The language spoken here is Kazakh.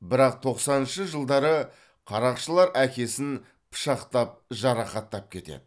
бірақ тоқсаныншы жылдары қарақшылар әкесін пышақпен жарақаттап кетеді